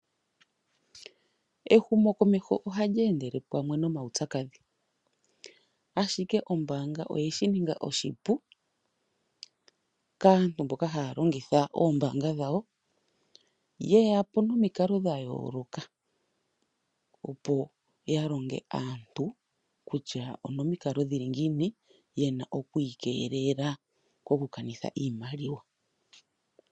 Ehumo komeho oha li endele pamwe nomaupyakadhi. Ashike ombaanga oye shi ninga oshipu, kaantu mboka ha ya longitha oombaanga dhawo, yeyapo nomikalo dhayooloka, opo ya longe aantu kutya onomikalo dhili ngiina ye na oku ikelela koku kanitha iimaliwa.